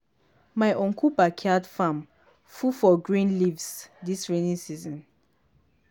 my uncle backyard farm full for green leaf dis rainy season.